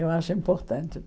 Eu acho importante.